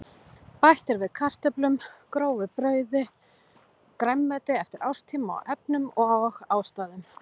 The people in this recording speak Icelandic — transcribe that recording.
Bætt er við kartöflum, grófu brauði og grænmeti eftir árstíma og efnum og ástæðum.